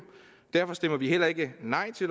derfor stemmer vi heller ikke nej til